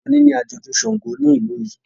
oni ní ajọdun ṣàngó ní ilú yí.